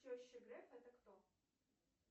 теща грефа это кто